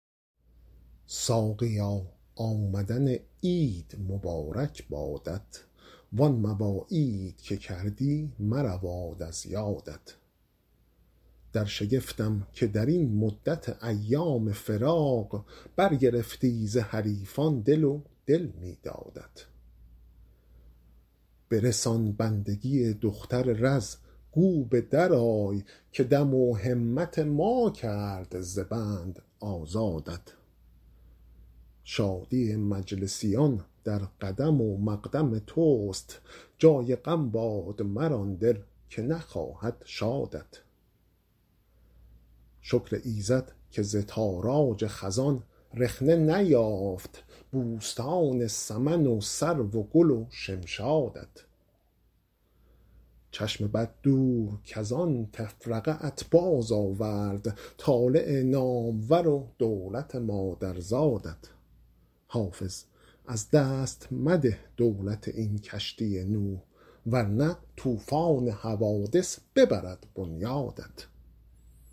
ساقیا آمدن عید مبارک بادت وان مواعید که کردی مرود از یادت در شگفتم که در این مدت ایام فراق برگرفتی ز حریفان دل و دل می دادت برسان بندگی دختر رز گو به درآی که دم و همت ما کرد ز بند آزادت شادی مجلسیان در قدم و مقدم توست جای غم باد مر آن دل که نخواهد شادت شکر ایزد که ز تاراج خزان رخنه نیافت بوستان سمن و سرو و گل و شمشادت چشم بد دور کز آن تفرقه ات بازآورد طالع نامور و دولت مادرزادت حافظ از دست مده دولت این کشتی نوح ور نه طوفان حوادث ببرد بنیادت